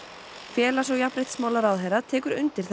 félags og jafnréttismálaráðherra tekur undir